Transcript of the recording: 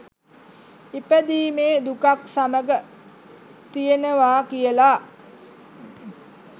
ඉපදීමේ දුකත් සමඟ තියෙනවා කියලා.